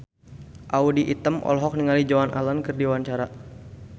Audy Item olohok ningali Joan Allen keur diwawancara